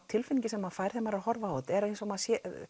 tilfinningin sem maður fær þegar maður horfir á þetta er eins og maður